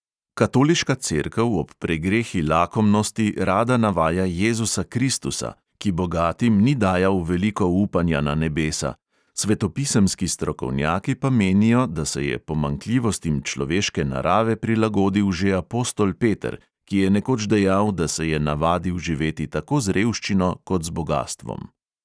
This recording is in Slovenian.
Katoliška cerkev ob pregrehi lakomnosti rada navaja jezusa kristusa, ki bogatim ni dajal veliko upanja na nebesa, svetopisemski strokovnjaki pa menijo, da se je pomanjkljivostim človeške narave prilagodil že apostol peter, ki je nekoč dejal, da se je navadil živeti tako z revščino kot z bogastvom.